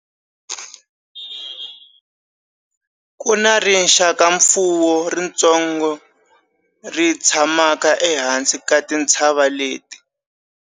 Ku na rixakamfuwo ritsongo ri tshamaka ehansi ka tintshava leti.